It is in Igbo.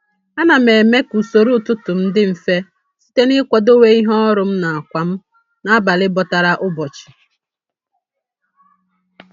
A na m eme ka usoro ụtụtụ m dị mfe site n'ịkwadowe ihe ọrụ m na ákwà m n'abalị bọtara ụbọchị.